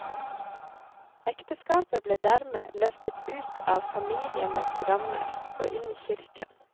Ekteskapet ble dermed løftet ut av familienes rammer og inn i kirken.